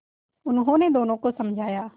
उन्होंने दोनों को समझाया